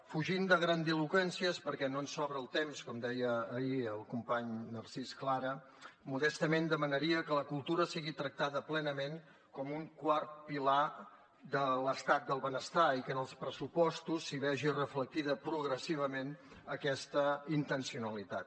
fugint de grandiloqüències perquè no ens sobra el temps com deia ahir el company narcís clara modestament demanaria que la cultura sigui tractada plenament com un quart pilar de l’estat del benestar i que en els pressupostos s’hi vegi reflectida progressivament aquesta intencionalitat